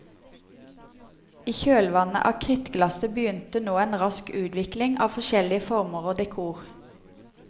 I kjølevannet av krittglasset begynte nå en rask utvikling av forskjellige former og dekor.